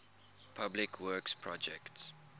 public works projects